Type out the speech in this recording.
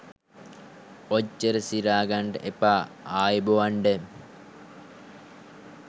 ඔච්චර සිරා ගන්ඩ එපා ආයුබොවන්ඩ.